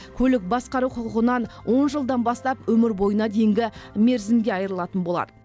көлік басқару құқығынан он жылдан бастап өмір бойына дейінгі мерзімге айырылатын болады